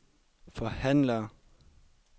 forhandler